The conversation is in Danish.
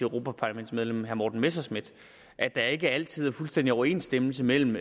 europaparlamentsmedlem herre morten messerschmidt at der ikke altid er fuldstændig overensstemmelse mellem